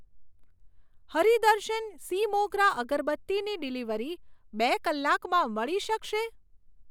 હરિ દર્શન સી મોગરા અગરબત્તીની ડિલિવરી બે કલાકમાં મળી શકશે?